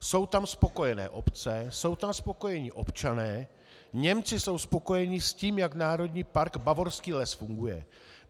Jsou tam spokojené obce, jsou tam spokojení občané, Němci jsou spokojení s tím, jak Národní park Bavorský les funguje.